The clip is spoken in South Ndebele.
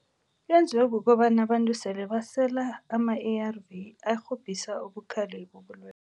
Yenziwe kukobana abantu sele basela ama-A_R_V arhobhisa ubukhali bobulwele.